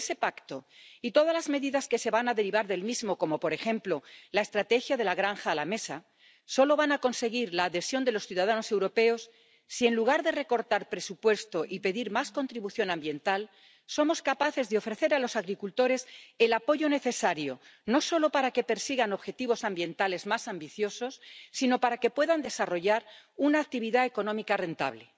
Pero ese Pacto y todas las medidas que se van a derivar del mismo, como, por ejemplo, la estrategia de la granja a la mesa, solo van a conseguir la adhesión de los ciudadanos europeos si, en lugar de recortar presupuesto y pedir más contribución ambiental, somos capaces de ofrecer a los agricultores el apoyo necesario, no solo para que persigan objetivos ambientales más ambiciosos, sino para que puedan desarrollar una actividad económica rentable.